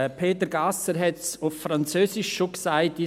Peter Gasser hat es auf Französisch schon gesagt;